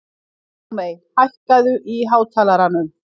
Dagmey, hækkaðu í hátalaranum.